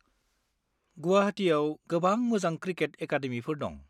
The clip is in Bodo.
गुवाहाटियाव गोबां मोजां क्रिकेट एकाडेमिफोर दं।